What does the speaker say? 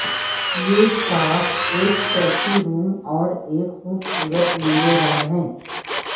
یہ شاخ ایک چوتھی روم اور ایک خوبصورت نیلے رنگ ہے